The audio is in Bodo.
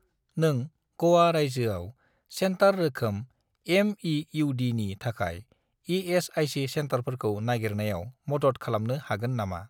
नों ग'वा रायजोआव सेन्टार रोखोम एम.इ.इउ.डी.नि थाखाय इ.एस.आइ.सि. सेन्टारफोरखौ नागिरनायाव मदद खालामनो हागोन नामा ?